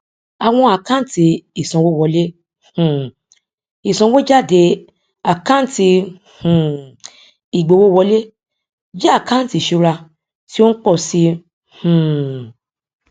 awon akanti isanwowole um isanwojade akanti um igbówowole je akanti isura ti o n po si um i